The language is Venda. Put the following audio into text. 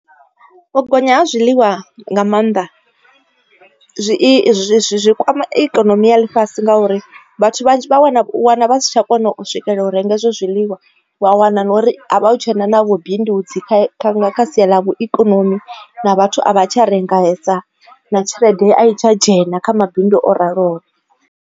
U gonya ha zwiḽiwa nga maanḓa zwi izwi zwi kwama ikonomi ya ḽifhasi ngauri vhathu vha wana u wana vha si tsha kona u swikelela u renga izwo zwiḽiwa wa wana na uri a hu tshena na vhu bindudzi kha sia ḽa ikonomi na vhathu a vha tsha rengesa na tshelede a i tsha dzhena kha mabindu o raloho.